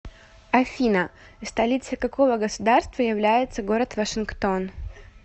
афина столицей какого государства является город вашингтон